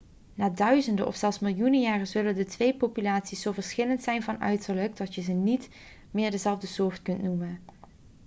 na duizenden of zelfs miljoenen jaren zullen de twee populaties zo verschillend zijn van uiterlijk dat je ze niet meer dezelfde soort kunt noemen